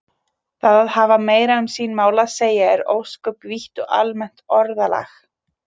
Það að hafa meira um sín mál að segja er ósköp vítt og almennt orðalag.